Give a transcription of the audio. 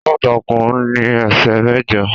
Aláǹtakùn ní esè mẹjọ.